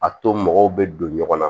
A to mɔgɔw bɛ don ɲɔgɔn na